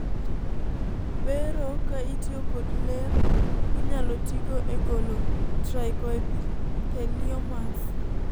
bero ka itiyo kod ler inyalo tigo e golo trichoepitheliomas